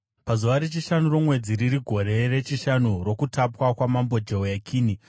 Pazuva rechishanu romwedzi, riri gore rechishanu rokutapwa kwaMambo Jehoyakini,